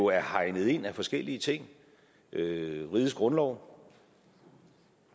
er hegnet ind af forskellige ting rigets grundlov